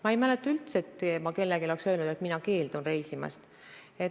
Ma ei mäleta üldse, et ma oleks kellelegi öelnud, et mina keeldun reisimast.